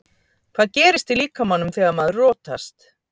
Hvað gerist í líkamanum þegar maður rotast?